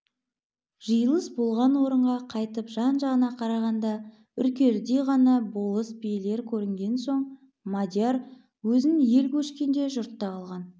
жиылыс болған орынға қайтып жан-жағына қарағанда үркердей ғана болыс билер көрінген соң мадияр өзін ел көшкенде жұртта қалған